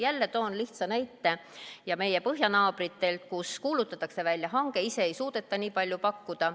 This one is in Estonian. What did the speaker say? Jälle toon lihtsa näite meie põhjanaabritelt, kus kuulutatakse välja hange, ise ei suudeta nii palju pakkuda.